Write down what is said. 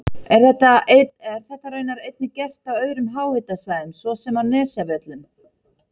Er þetta raunar einnig gert á öðrum háhitasvæðum svo sem á Nesjavöllum.